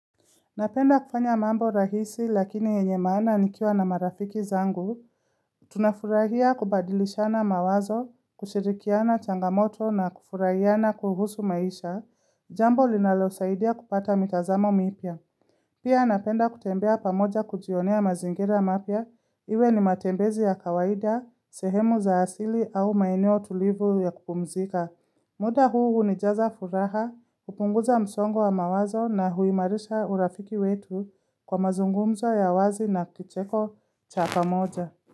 Napenda kufanya mambo rahisi lakini yenye maana nikiwa na marafiki zangu, tunafurahia kubadilishana mawazo, kushirikiana changamoto na kufurahiana kuhusu maisha, jambo linalo tusaidia kupata mitazamo mipia. Pia napenda kutembea pamoja kujionea mazingira mapya, iwe ni matembezi ya kawaida, sehemu za asili au maeneo tulivu ya kupumzika. Muda huu hunijaza furaha, hupunguza msongo wa mawazo na huimarisha urafiki wetu kwa mazungumzo ya wazi na kicheko chapa moja.